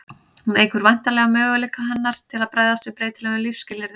hún eykur væntanlega möguleika hennar til að bregðast við breytilegum lífsskilyrðum